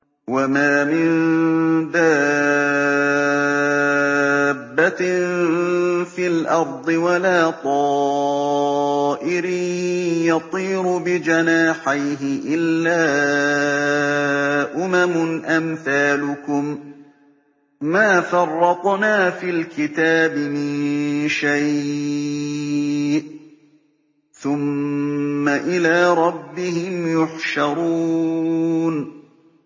وَمَا مِن دَابَّةٍ فِي الْأَرْضِ وَلَا طَائِرٍ يَطِيرُ بِجَنَاحَيْهِ إِلَّا أُمَمٌ أَمْثَالُكُم ۚ مَّا فَرَّطْنَا فِي الْكِتَابِ مِن شَيْءٍ ۚ ثُمَّ إِلَىٰ رَبِّهِمْ يُحْشَرُونَ